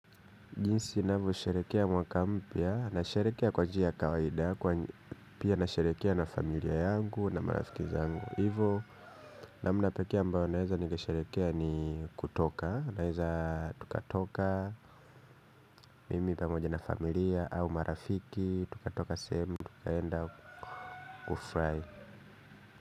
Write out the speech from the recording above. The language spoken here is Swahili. Jinsi ninavyosherehekea mwaka mpya, nasherehekea kwa njia ya kawaida, pia nasherehekea na familia yangu na marafiki zangu. Hivo namna pekee ambao naeza nikasherehekea ni kutoka, naeza tukatoka mimi pamoja na familia au marafiki, tukatoka sehemu, tukaenda kufry.